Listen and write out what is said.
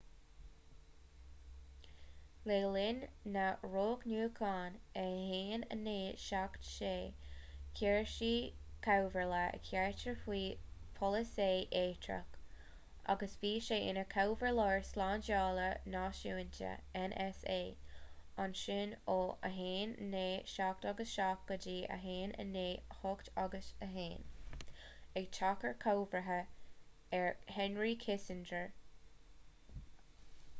le linn na roghnúchán i 1976 chuir sé comhairle ar carter faoi pholasaí eachtrach agus bhí sé ina chomhairleoir slándála náisiúnta nsa ansin ó 1977 go dtí 1981 ag teacht i gcomharba ar henry kissinger